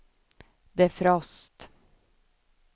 defrost